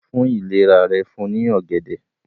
fún ìlera rẹ̀ fún ní ògèdè